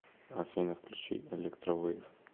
афина включи электро вэйв